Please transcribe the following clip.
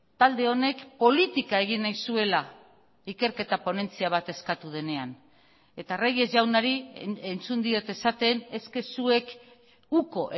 talde honek politika egin nahi zuela ikerketa ponentzia bat eskatu denean eta reyes jaunari entzun diot esaten eske zuek uko